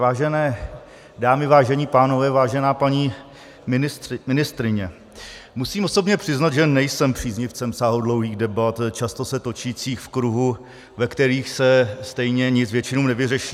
Vážené dámy, vážení pánové, vážená paní ministryně, musím osobně přiznat, že nejsem příznivcem sáhodlouhých debat, často se točících v kruhu, ve kterých se stejně nic většinou nevyřeší.